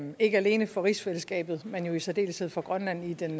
ikke alene for rigsfællesskabet men jo i særdeleshed for grønland i den